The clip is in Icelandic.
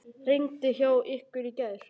Rigndi hjá ykkur í gær?